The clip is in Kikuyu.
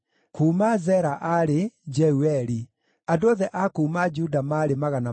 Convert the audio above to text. Kuuma Zera aarĩ: Jeueli. Andũ othe a kuuma Juda maarĩ 690.